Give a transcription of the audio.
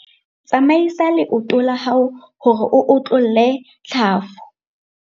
Tsamaisa leoto la hao hore o otlolle tlhafu.